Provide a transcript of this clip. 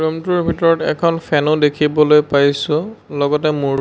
room টোৰ ভিতৰত এখন ফেনো ও দেখিবলৈ পাইছোঁ লগতে মোৰ--